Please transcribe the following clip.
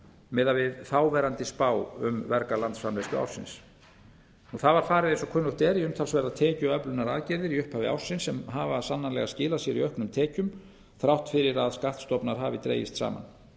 miðað við þáverandi spá um verga landsframleiðslu ársins það var farið eins og kunnugt er í umtalsverðar tekjuöflunaraðgerðir í upphafi ársins sem hafa sannarlega skilað sér í auknum tekjum þrátt fyrir að skattstofnar hafi dregist saman